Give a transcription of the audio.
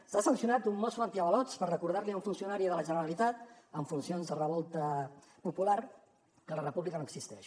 s’ha sancionat un mosso antiavalots per recordar li a un funcionari de la generalitat en funcions de revolta popular que la república no existeix